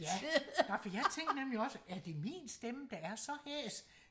ja nå for jeg tænkte nemlig også er det min stemme der er så hæs